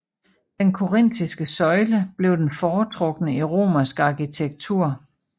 Den korintiske søjle blev den foretrukne i romersk arkitektur